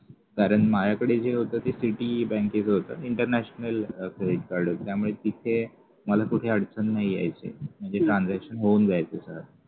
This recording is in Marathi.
कारण माझ्याकडे जे होत ते PTA बँकेचं होत international credit card होत त्यामुळे तिथे मला कुठे अडचण नाही यायची म्हणजे transaction होऊन जायचं सगळं